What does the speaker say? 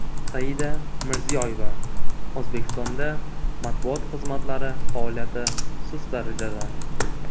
Saida Mirziyoyeva: O‘zbekistonda matbuot xizmatlari faoliyati sust darajada.